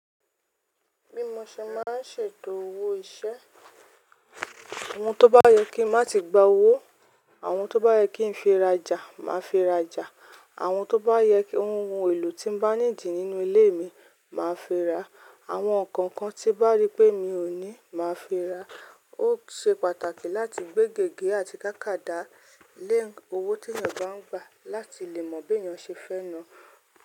Bímọ ṣe máa ń ṣètò owó iṣẹ́. Àwọn tó bá yẹ kí n má tí gba owó, àwọn tó bá yẹ kí n fi rajà, màá fi rajà. Àwọn tó bá yẹ kí ohun èlò tí mo bá needì nínú ilé mi, màá fi ra. Àwọn nǹkan kan tí bá rí pé mi ò ní, màá fi ra. Ó ṣe pàtàkì láti gbé gègé àti tákàdá lẹ́ owó tí ènìyàn bá ń gba, láti lè mọ̀ bí ènìyàn ṣe fẹ́nu.